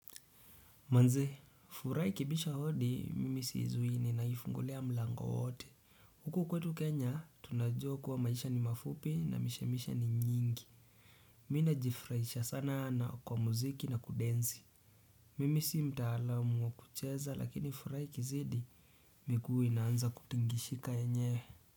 Manze furaiha ikibisha hodi mimi siizuii ninaifungulia mlango wote huku kwetu kenya tunajua kuwa maisha ni mafupi na mishemishe ni nyingi mi najifurahisha sana na kwa muziki na kudensi mimi sii mtaalamu wa kucheza lakini furaha ikizidi miguu inaanza kutingishika yenyewe.